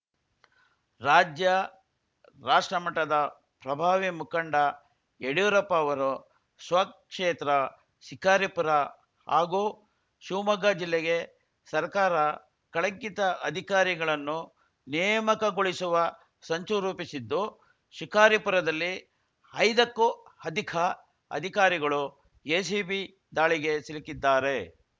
ರಾಜ್ಯ ರಾಷ್ಟ್ರ ಮಟ್ಟದ ಪ್ರಭಾವಿ ಮುಖಂಡ ಯಡಿಯೂರಪ್ಪ ಅವರು ಸ್ವಕ್ಷೇತ್ರ ಸಿಕಾರಿಪುರ ಹಾಗೂ ಶಿವಮೊಗ್ಗ ಜಿಲ್ಲೆಗೆ ಸರ್ಕಾರ ಕಳಂಕಿತ ಅಧಿಕಾರಿಗಳನ್ನು ನೇಮಕಗೊಳಿಸುವ ಸಂಚು ರೂಪಿಸಿದ್ದು ಶಿಕಾರಿಪುರದಲ್ಲಿ ಐದಕ್ಕೂ ಅಧಿಕ ಅಧಿಕಾರಿಗಳು ಎಸಿಬಿ ದಾಳಿಗೆ ಸಿಲುಕಿದ್ದಾರೆ